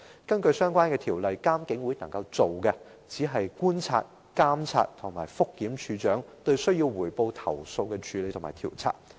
根據有關條例，監警會的工作只是觀察、監察和覆檢警務處處長就須匯報投訴的處理和調查工作。